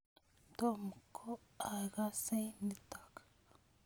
Tom ko aaksei nitok